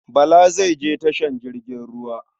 Bala zai je tashar jirgin ruwa.